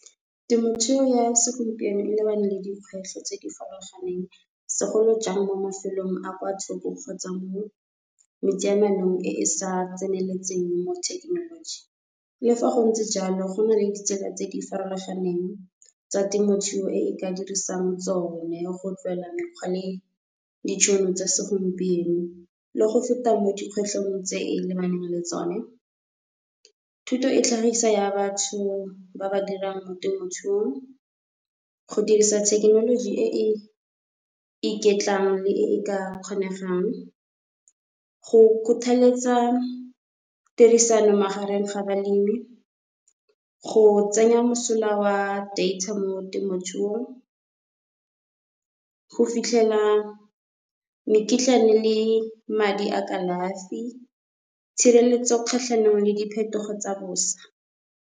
Temothuo ya segompieno e lebane le dikgwetlho tse di farologaneng segolo jang mo mafelong a kwa thoko kgotsa mo e e sa tseneletseng mo thekenoloji. Le fa go ntse jalo go nale ditsela tse di farologaneng tsa temothuo, e e ka dirisang tsone go tlwaela mekgwa le ditšhono tsa segompieno, le go feta mo di kgwetlhong tse lebanang le tsone. Thuto e tlhagisa ya batho ba ba dirang mo temothuong go dirisa thekenoloji e e iketlang, le e ka kgonegang go kgothaletsa tirisano magareng ga balemi, go tsenya mosola oa data mo temothuong, go fitlhela mekitlane le madi a kalafi, tshireletso kgatlhanong le diphetogo tsa bosa.